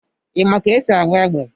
Ị ma ka esi agba égbè?